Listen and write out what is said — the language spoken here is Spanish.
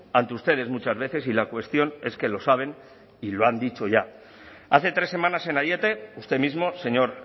ante ustedes muchas veces y la cuestión es que lo saben y lo han dicho ya hace tres semanas en aiete usted mismo señor